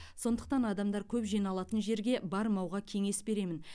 сондықтан адамдар көп жиналатын жерге бармауға кеңес беремін